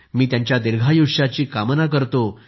मी त्यांच्या दीर्घायुष्याची कामना करतो